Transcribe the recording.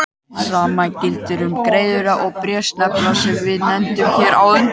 Hið sama gildir um greiðuna og bréfsneplana sem við nefndum hér á undan.